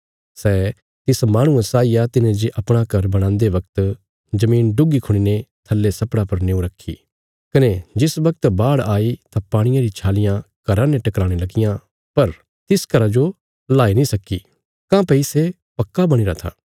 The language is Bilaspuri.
सै तिस माहणुये साई आ तिने जे अपणा घर बणान्दे बगत जमीन डुग्गी खुणीने थल्ले सप्पड़ा पर निऊँ रखी कने जिस बगत बाढ़ आई तां पाणिये री छालियां घरा ने टकराणे लगियां पर तिस घरा जो हिलाई नीं सक्की काँह्भई सै पक्का बणीरा था